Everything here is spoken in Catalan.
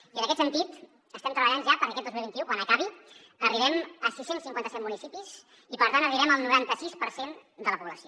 i en aquest sentit estem treballant ja perquè aquest dos mil vint u quan acabi arribem a sis cents i cinquanta set municipis i per tant arribem al noranta sis per cent de la població